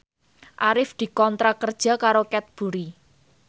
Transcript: Arif dikontrak kerja karo Cadbury